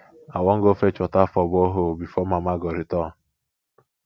i wan go fetch water for borehole before mama go return